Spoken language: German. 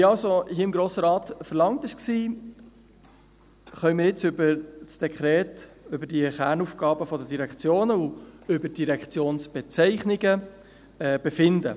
Wie vom Grossen Rat verlangt, können wir jetzt über das Dekret, über die Kernaufgaben der Direktionen und über die Direktionsbezeichnungen befinden.